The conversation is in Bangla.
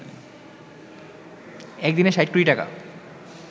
এক দিনে ৬০ কোটি টাকা